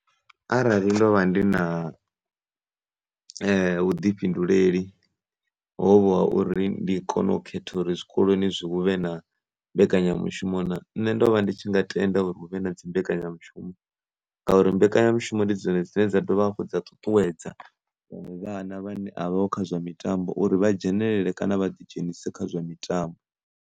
Arali ndo vha ndi na vhuḓifhinduleli hovho ha uri ndi kone u khetha uri zwikoloni hu vhe na mbekanyamushumo na nne ndo vha ndi tshi nga tenda uri tshikoloni hu vhe na dzi mbekanyamushumo, ngauri mbekanyamushumo ndi dzone dzine dza dovha hafhu dza ṱuṱuwedza uri vhana vhane a vhaho kha zwa mitambo vha dzhenelele kana vha ḓi dzhenise kha zwa mitambo.